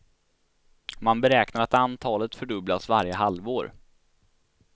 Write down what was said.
Man beräknar att antalet fördubblas varje halvår.